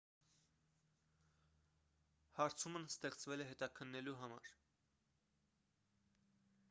հարցումն ստեղծվել է հետաքննելու համար